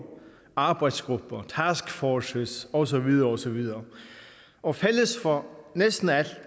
arbejdsgrupper taskforces og så videre og så videre og fælles for næsten alt